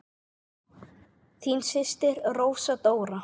Þín systir Rósa Dóra.